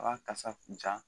A b'a kasa kun ja